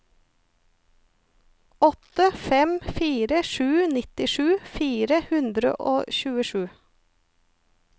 åtte fem fire sju nittisju fire hundre og tjuesju